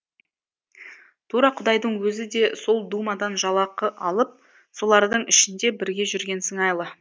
тура құдайдың өзі де сол думадан жалақы алып солардың ішінде бірге жүрген сыңайлы